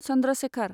Chandra Shekhar